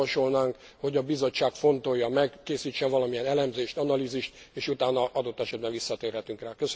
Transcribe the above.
Azt javasolnánk, hogy a Bizottság fontolja meg, készítsen valamilyen elemzést, analízist és utána adott esetben visszatérhetünk rá.